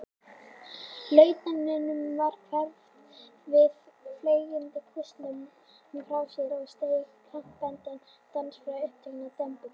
Lautinantinum varð hverft við, fleygði kústinum frá sér og steig krampakenndan dans frá upptökum dembunnar.